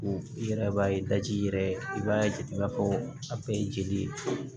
I yɛrɛ b'a ye daji yɛrɛ i b'a jate i b'a fɔ a bɛɛ ye jeli ye